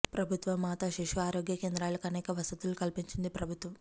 ప్రభుత్వ మాతా శిశు ఆరోగ్య కేంద్రాలకు అనేక వసతులు కల్పించింది ప్రభుత్వం